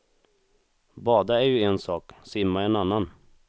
Bada är ju en sak, simma en annan.